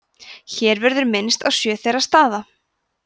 hér verður minnst á sjö þeirra staða